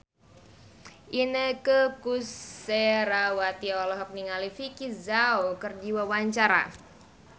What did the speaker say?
Inneke Koesherawati olohok ningali Vicki Zao keur diwawancara